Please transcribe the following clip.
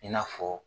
I n'a fɔ